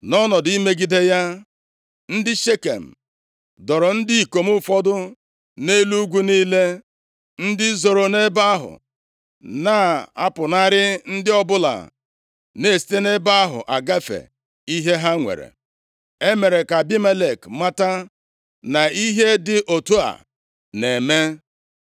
Nʼọnọdụ imegide ya, ndị Shekem doro ndị ikom ụfọdụ nʼelu ugwu niile, ndị zoro nʼebe ahụ na-apụnara ndị ọbụla na-esite nʼebe ahụ agafe ihe ha nwere. E mere ka Abimelek mata na ihe dị otu a na-eme.